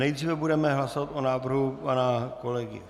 Nejdříve budeme hlasovat o návrhu pana kolegy